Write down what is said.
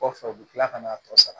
Kɔfɛ u bɛ tila ka n'a tɔ sara